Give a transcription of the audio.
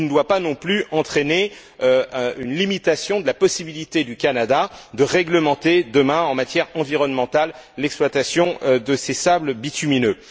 Il ne doit pas non plus entraîner une limitation de la possibilité du Canada de réglementer demain, en matière environnementale, l'exploitation de ses sables bitumineux.